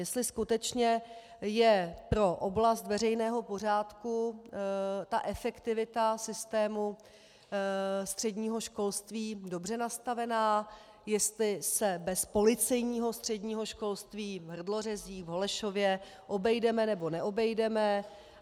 Jestli skutečně je pro oblast veřejného pořádku ta efektivita systému středního školství dobře nastavená, jestli se bez policejního středního školství v Hrdlořezích, v Holešově obejdeme, nebo neobejdeme.